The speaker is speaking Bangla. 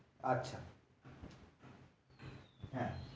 আচ্ছা হ্যাঁ